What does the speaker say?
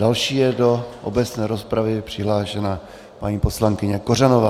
Další je do obecné rozpravy přihlášena paní poslankyně Kořanová.